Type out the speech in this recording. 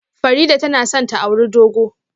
Farida tana son ta auri dogo